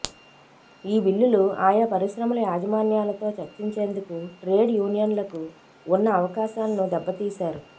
ఈ బిల్లులు ఆయా పరిశ్రమల యాజమాన్యా లతో చర్చించేందుకు ట్రేడ్ యూనియన్లకు ఉన్న అవకాశాలను దెబ్బ తీశారు